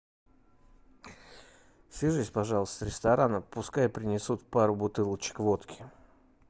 свяжись пожалуйста с рестораном пускай принесут пару бутылочек водки